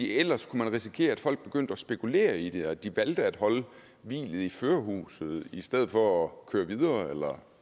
ellers kunne man risikere at folk begyndte at spekulere i det altså at de valgte at holde hvilet i førerhuset i stedet for at køre videre eller